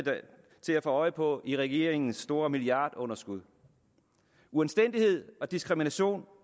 til at få øje på i regeringens store milliardunderskud uanstændighed og diskrimination